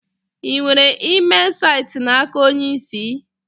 Ị nwetara email site n'aka onye isi?